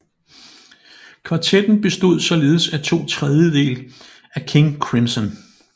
Kvartetten bestod således af to trediedele af King Crimson